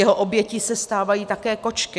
Jeho obětí se stávají také kočky.